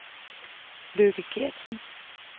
Lykke Geertsen